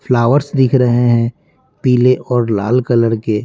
flowers दिख रहे है पिले और लाल कलर के--